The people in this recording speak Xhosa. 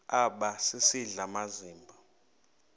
aba sisidl amazimba